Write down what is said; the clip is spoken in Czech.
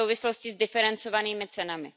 v souvislosti s diferencovanými cenami.